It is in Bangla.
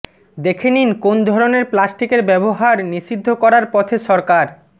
দেখে নিন কোন ধরণের প্লাস্টিকের ব্যবহার নিষিদ্ধ করার পথে সরকার